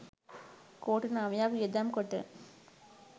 කෝටි නවයක් වියදම් කොට